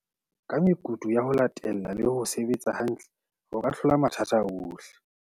"Ka mekutu ya ho latella le ho se betsa hantle, o ka hlola matha ta ana ohle".